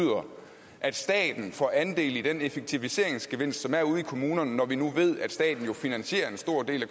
at staten får andel i den effektiviseringsgevinst som er ude i kommunerne når vi nu ved at staten jo finansierer en stor del